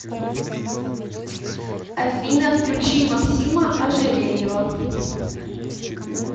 афина включи максима ожерельева